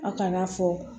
Aw kan'a fɔ